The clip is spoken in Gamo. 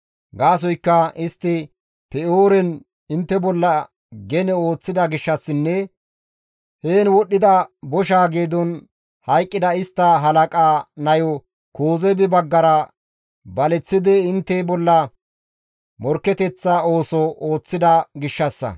Gaasoykka istti Pe7ooren intte bolla gene ooththida gishshassinne heen wodhdhida bosha geedon hayqqida istta halaqaa nayo Kozeebi baggara baleththidi intte bolla morkketeththa ooso ooththida gishshassa.»